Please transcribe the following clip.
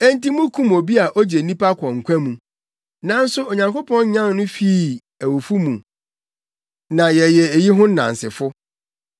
Enti mukum obi a ogye nnipa kɔ nkwa mu. Nanso Onyankopɔn nyan no fii awufo mu na yɛyɛ eyi ho nnansefo.